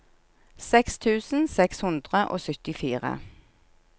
seks tusen seks hundre og syttifire